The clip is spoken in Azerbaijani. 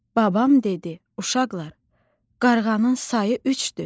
Babam dedi: Uşaqlar, qarğanın sayı üçdür.